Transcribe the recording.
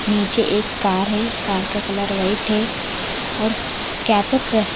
नीचे एक कार है कार का कलर व्हाइट है और क्या तो क--